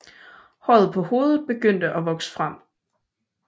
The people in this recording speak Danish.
Håret på hovedet begynder at vokse frem